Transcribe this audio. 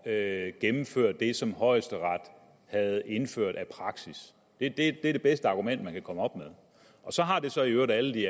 at gennemføre det som højesteret havde indført af praksis det er det bedste argument man kan komme op med og så har det så i øvrigt alle de